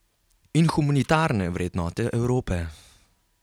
In humanitarne vrednote Evrope?